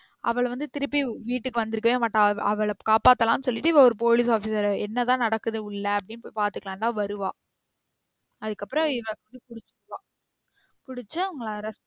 அவள வந்து திருப்பி வீட்டுக்கு வந்துருக்கவே மாட்டா. அவள காப்பாத்தலானு சொல்லிட்டு இவ ஒரு police officer ஆ என்னதான் நடக்குது உள்ள அப்டின்னு போய் பாத்துக்களானு தான் வருவா அதுக்கப்றம் இவ இப்டியே பிடிச்சிக்குவா. பிடிச்சு அவங்கள arrest